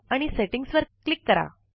setting वर click करा